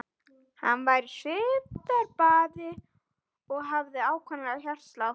Hann var í svitabaði og hafði ákafan hjartslátt.